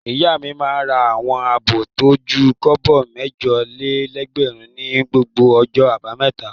Ìyá mi máa ń ra àwọn abọ́ tó ju kọ́bọ̀ mẹ́jọ-lé-ẹgbẹ̀rún ní gbogbo ọjọ́ àbámẹ́ta.